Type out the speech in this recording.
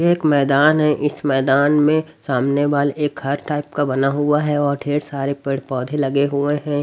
एक मैदान है इस मैदान में सामने वॉल एक घर टाइप का बना हुआ है और ढेर सारे पेड़ पौधे लगे हुए हैं।